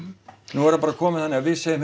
nú er það bara komið þannig að við segjum